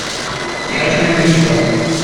яростная молитва